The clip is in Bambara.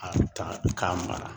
A ta k'a mara